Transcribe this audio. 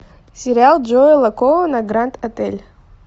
сериал джоэла коэна гранд отель